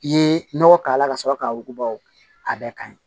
I ye nɔgɔ k'a la ka sɔrɔ k'a wuguba o bɛɛ ka ɲi